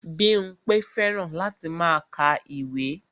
Bímpé fẹ́ràn láti máa ka ìwé